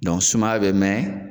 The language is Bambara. sumaya bɛ mɛɛn